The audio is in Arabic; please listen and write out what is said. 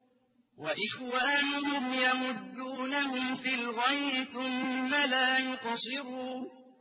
وَإِخْوَانُهُمْ يَمُدُّونَهُمْ فِي الْغَيِّ ثُمَّ لَا يُقْصِرُونَ